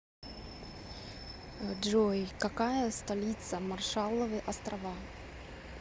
джой какая столица маршалловы острова